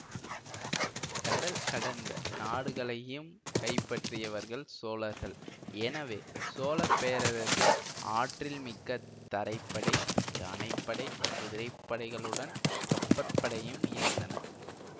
கடல் கடந்த நாடுகளையும் கைப்பற்றியவர்கள் சோழர்கள் எனவே சோழப்பேரரசில் ஆற்றல் மிக்க தரைப்படை யானை படை குதிரைப்படைகளுடன் கப்பற்படையும் இருந்தன